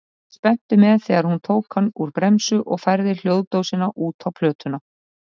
Fylgdist spenntur með þegar hún tók hann úr bremsu og færði hljóðdósina út á plötuna.